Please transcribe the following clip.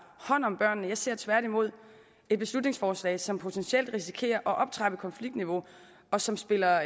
hånd om børnene jeg ser tværtimod beslutningsforslaget som potentielt risikerer at optrappe konfliktniveauet og som spiller